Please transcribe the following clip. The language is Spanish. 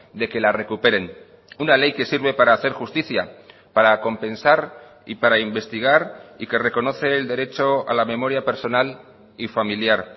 de que la recuperen una ley que sirve para hacer justicia para compensar y para investigar y que reconoce el derecho a la memoria personal y familiar